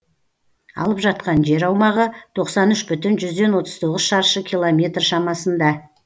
алып жатқан жер аумағы тоқсан үш бүтін жүзден отыз тоғыз шаршы километр шамасында